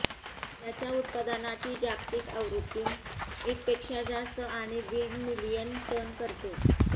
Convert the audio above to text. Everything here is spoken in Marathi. त्याच्या उत्पादनाची जागतिक आवृत्ती एक पेक्षा जास्त आणि दीड मिलियन टन करते